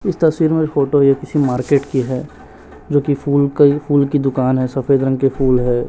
इस तस्वीर में फोटो ये किसी मार्केट की है जो कि फूल कई फूल की दुकान है सफेद रंग के फूल है।